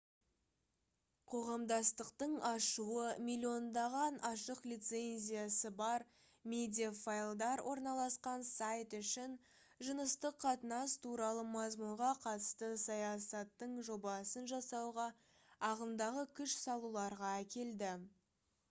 қоғамдастықтың ашуы миллиондаған ашық лицензиясы бар медиафайлдар орналасқан сайт үшін жыныстық қатынас туралы мазмұнға қатысты саясаттың жобасын жасауға ағымдағы күш салуларға әкелді